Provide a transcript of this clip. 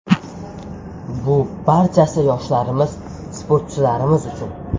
Bu barchasi yoshlarimiz, sportchilarimiz uchun.